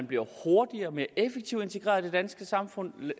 bliver hurtigere og mere effektivt integreret i det danske samfund